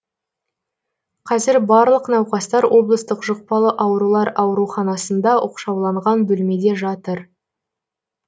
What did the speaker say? қазір барлық науқастар облыстық жұқпалы аурулар ауруханасында оқшауланған бөлмеде жатыр